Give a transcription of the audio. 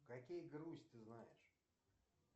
какие грусть ты знаешь